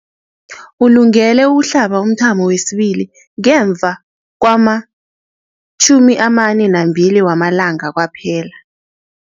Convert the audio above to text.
Ulungele ukuhlaba umthamo wesibili ngemva kwama-42 wamalanga kwaphela.